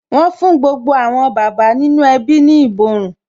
Wọn fún gbogbo àwọn bàbá nínú ẹbí ní ìborùn